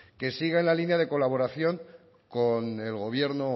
que siga en la línea de colaboración con el gobierno